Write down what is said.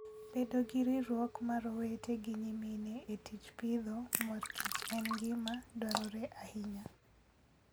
Bedo gi riwruok mar owete gi nyimine e tij pidho mor kich en gima dwarore ahinya.